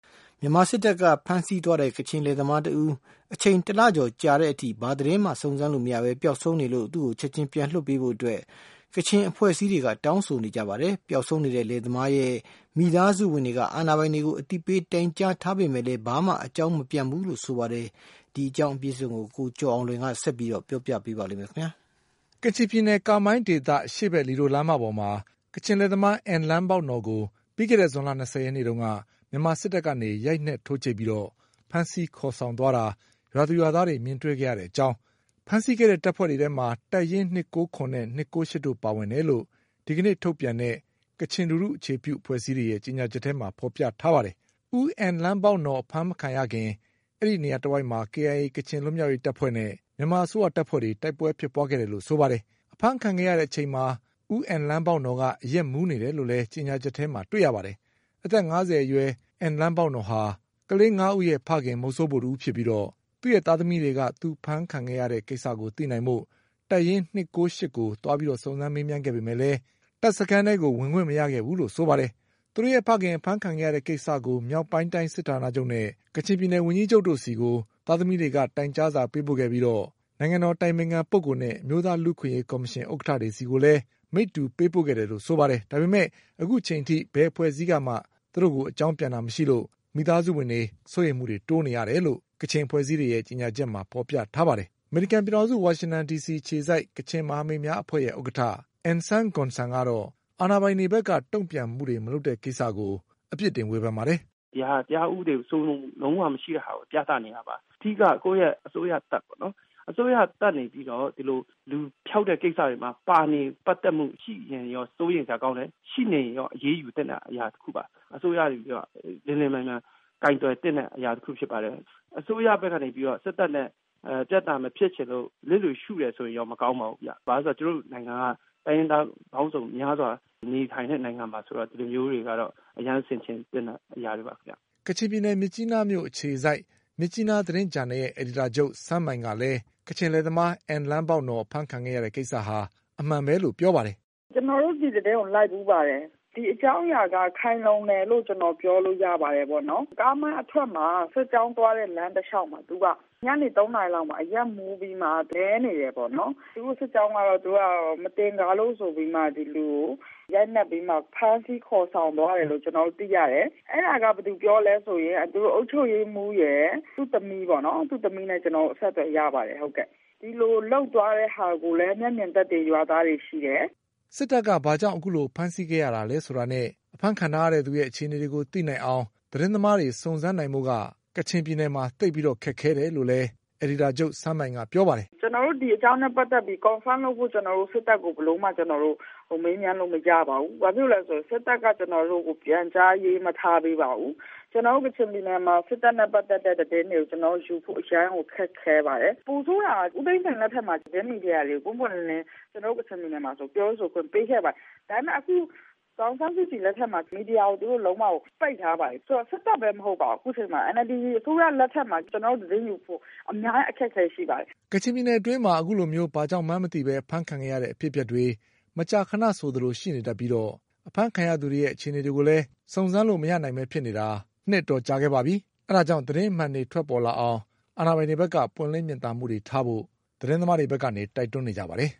မြန်မာစစ်တပ်က ဖမ်းဆီးသွားတဲ့ ကချင်လယ်သမားတဦး အချိန် တလကျော်ကြာလာတဲ့အထိ ဘာသတင်းမှစုံစမ်းလို့ မရပဲ ပျောက်ဆုံးနေလို့ သူ့ကိုချက်ချင်းပြန်လွှတ်ပေးဖို့ ကချင်အဖွဲ့အစည်းတွေက တောင်းဆိုနေကြပါတယ်။ ပျောက်ဆုံးနေတဲ့လယ်သမားရဲ့ မိသားစုဝင်တွေက အာဏာပိုင်တွေကို အသိပေးတိုင်ကြားထားပေမဲ့လည်း ဘာမှ အကြောင်းမပြန် ဘူးလို့ဆိုပါတယ်။ ဒီအကြောင်း ကိုကျော်အောင်လွင်က ဆက်ပြီးပြောပြပါလိမ့်မယ်။ ကချင်ပြည်နယ် ကာမိုင်းဒေသ အရှေ့ဘက်လီဒိုလမ်းမပေါ်မှာ ကချင်လယ်သမား အင်လမ်းဘောက်နော်ကို ပြီးခဲ့တဲ့ဇွန်လ ၂၀ရက်နေ့က မြန်မာစစ်တပ်က ရိုက်နှက်ထိုးကြိတ်ပြီးဖမ်းဆီးခေါ်ဆောင်သွားတာကို ရွာသူရွာသားတွေ မြင်တွေ့ခဲ့တဲ့ အကြောင်း ဖမ်းဆီးခဲ့တဲ့တပ်ဖွဲ့တွေထဲမှာ တပ်ရင်း ၂၉၇နဲ့၂၉၈တို့ပါဝင်တယ်လို့ ဒီကနေ့ထုတ်ပြန်တဲ့ ကချင်လူထု အခြေပြုအဖွဲ့အစည်း ၁၆ဖွဲ့ရဲ့ပူးတွဲကြေညာချက်ထဲမှာဖေါ်ပြထားပါတယ်။ ဦးအင်လမ်းဘောက်နော်အဖမ်းမခံရခင် အဲဒီနေရာ တဝိုက်မှာ KIA ကချင်လွတ်မြောက်ရေးတပ်နဲ့ မြန်မာအစိုးရတပ်ဖွဲ့တွေတိုက်ပွဲဖြစ်ပွါးခဲ့တယ်လို့ဆိုပါတယ်။ အဖမ်းခံရတဲ့ အချိန်မှာ ဦးအင်လမ်းဘောက်နော်က အရက်မူးနေတယ်လို့လည်း ကြေညာချက်ထဲမှာတွေ့ရပါတယ်။ အသက်၅၀ အရွယ် ဦးအင်လမ်းဘောက်နော်ဟာ ကလေး၅ဦးရဲ့ဖခင် မုဆိုးဖိုတဦးဖြစ်ပြီး သူ့ရဲ့သားသမီးတွေက သူအဖမ်းခံခဲ့ရတဲ့ ကိစ္စကိုသိနိုင်ဖို့ တပ်ရင်း ၂၉၈ကိုသွားပြီးစုံစမ်းမေးမြန်းခဲ့ပေမဲ့လည်း တပ်စခန်းထဲကို ဝင်ခွင့်မရခဲ့ဘူး လို့ဆိုပါတယ်။ သူတို့ရဲ့ဖခင် အဖမ်းခံရတဲ့ကိစ္စကို မြောက်ပိုင်းတိုင်းစစ်ဌာနချုပ်နဲ့ကချင်ပြည်နယ်ဝန်ကြီးချုပ်တို့ကို သားသမီးတွေက တိုင်ကြားစာပေးပို့ခဲ့ပြီး နိုင်ငံတော်အတိုင်ပင်ခံပုဂ္ဂိုလ်နဲ့ အမျိုးသားလူ့အခွင့်အရေးကော်မရှင်ဥက္ကဌတွေ ဆီကိုလည်း မိတ္တူ ပေးပို့ခဲ့တယ်လို့ဆိုပါတယ်။ ဒါပေမဲ့လည်း အခုချိန်ထိ ဘယ်အဖွဲ့အစည်းကမှ အကြောင်းပြန်တာမရှိလို့ မိသားစုတွေ စိုးရိမ်မှုတိုးနေရတယ်လို့ ကချင်အဖွဲ့အစည်းတွေရဲ့ ကြေညာချက်မှာဖေါ်ပြထားပါတယ်။ ဝါရှင်တန်ဒီစီအခြေစိုက် ကချင် မဟာမိတ်များအဖွဲ့ရဲ့ ဥက္ကဌ N Sang Gun Sanကတော့ အာဏာပိုင်တွေဘက်က တုံ့ပြန်မှုတွေမလုပ်တဲ့ကိစ္စကို အပြစ်တင်ဝေဖန်ပါတယ်။ “ဒီဟာက တရားဥပဒေစိုးမိုးမှု လုံးဝမရှိတာကို ပြသနေတာပါ။ အဓိက ကိုယ့်အစိုးရတပ်ပါ။ အစိုးရတပ်ကနေပြီးတော့ ဒီလိုလူဖျောက်တဲ့ကိစ္စတွေမှာ ပါဝင်ပတ်သက်မှုရှိနေတာက စိုးရိမ်စရာကောင်းတယ်။ ဒါက အရေးယူသင့်တဲ့ကိစ္စပါ လျှင်လျှင်မြန်မြန်ကိုင်တွယ်သင့်တဲ့ အရာတခုဖြစ်ပါတယ် အစိုးရဘက်က နေပြီးတော့ စစ်တပ်နဲ့ ပြဿနာမဖြစ်ချင်လို့ လစ်လျူရှုတယ်ဆိုရင်တော့မကောင်းပါဘူး ဘာဖြစ်လို့လဲဆိုတော့ ကျနော်တို့နိုင်ငံက တိုင်းရင်းသားပေါင်းစုံများစွာနေထိုင်တဲ့နိုင်ငံ ဆိုတော့ ဒီလိုမျိုးတွေကတော့ အရမ်းဆင်ခြင်သင့် တဲ့အရာတွေပါခင်ဗျ။” ကချင်ပြည်နယ်၊ မြစ်ကြီးနားမြို့အခြေစိုက် မြစ်ကြီးနားသတင်းဂျာနယ်ရဲ့ အယ်ဒီတာချုပ် Seng Mai က လည်း ကချင်လယ်သမား အင်လမ်းဘောက်နော်အဖမ်းခံခဲ့ရတဲ့ကိစ္စဟာ အမှန်ပဲလို့ပြောပါတယ်။ “ကျနော်တို့ ဒီသတင်းကိုလိုက်ဖူးပါတယ်။ ဒီအကြောင်းအရာက ခိုင်လုံတယ်လို့ပြောလို့ရပါတယ်။ ကားမိုင်းအထွက် စစ်ကြောင်းသွားတဲ့လမ်းတလျှောက်မှာ သူက ညနေ ၃ နာရီလောက်မှာ အရက်မူးပြီးမှ လဲနေတယ်ပေါ့နော် သူတို့စစ်ကြောင်းက မသကာၤလို့ဆိုပြီးမှ ဒီလူကို ရိုက်နက်ပြီးတော့ဖမ်းဆီးခေါ်ဆောင်သွားတယ်လို့ ကျနော်တို့ သိရတယ်။ အဲဒါက ဘယ်သူပြောသလဲဆိုရင် အုပ်ချုပ်ရေးမှူးရယ် ၊ သူ့သမီးရယ် သူ့သမီးနဲ့ ကျနော်တို့ အဆက်အသွယ်ရပါတယ်။ ဒီလိုလုပ်သွားတာကိုလည်း မျက်မြင်သက်သေရွာသားတွေလည်းရှိတယ်။” ဘာကြောင့် စစ်တပ်က ဖမ်းဆီးခဲ့တာလဲဆိုတာနဲ့ အဖမ်းခံထားရတဲ့သူရဲ့ အခြေအနေတွေကိုသိနိုင်အောင် သတင်းသမားတွေစုံစမ်းဖို့ ကချင်ပြည်နယ်မှာ သိပ်ခက်ခဲတယ်လို့လည်း အယ်ဒီတာချုပ် Seng Mai ကပြောပါတယ်။ “ကျနော်တို့ ဒီအကြောင်းနဲ့ ပတ်သက်ပြီး Confirm လုပ်ဖို့ ကျနော်တို့ ဘယ်လိုမှ စစ်တပ်ကို မေးမြန်းလို့ မရပါဘူး။ ဘာဖြစ်လို့လဲဆိုတော့ စစ်တပ်ကကျနော်တို့ကို ပြန်ကြားရေးမထားပေးပါဘူး။ ကျနော်တို့ကချင်ပြည်နယ်မှာ စစ်တပ်နဲ့ ပတ်သက်တဲ့သတင်းတွေကို ယူဖို့ အရမ်းကို ခက်ခဲပါတယ်။ ပိုဆိုးတာက ဦးသိန်းစိန်လက်ထက်မှာ သတင်းမီဒီယာတွေကို ပွင့်ပွင့်လင်းလင်း ကျနော်တို့ ကချင်ပြည်နယ်မှာ ပြောဆိုဖို့ အခွင့်ပေးခဲ့ပါတယ်။ ဒါပေမယ့် အခုဒေါ်အောင်ဆန်းစုကြည်လက်ထက်မှာဆိုရင် မီဒီယာကို သူတို့လုံးဝပိတ်ထားပါတယ်။ ဆိုတော့ စစ်တပ်ပဲမဟုတ်ပါဘူး အခုအချိန်မှာ NLD အစိုးရလက်ထက်မှာ ကျနော်တို့ သတင်းယူဖို့ အများကြီးအခက်အခဲရှိပါတယ်။” ကချင်ပြည် နယ်မှာ အခုလို ဘာကြောင့်မှန်းမသိပဲ အဖမ်းခံရတဲ့အဖြစ်အပျက်တွေ မကြာခဏဆိုသလိုရှိနေတတ်ပြီး အဖမ်းခံရသူ တွေရဲ့ အခြေအနေတွေကိုလည်း စုံစမ်းလို့မရနိုင်ပဲဖြစ်နေတာ နှစ်အတော်ကြာခဲ့ပါပြီ။ အဲဒါကြောင့်သတင်းအမှန်တွေ ထွက်ပေါ် လာအောင် အာဏာပိုင်တွေဘက်ကပွင့်လင်းမြင်သာမှုတွေထားဖို့သတင်းသမားတွေဘက်ကနေ တိုက်တွန်း နေကြပါတယ်